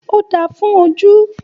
Òdá fún òjú.